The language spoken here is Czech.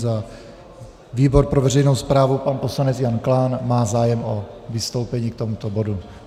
Za výbor pro veřejnou správu pan poslanec Jan Klán má zájem o vystoupení k tomuto bodu.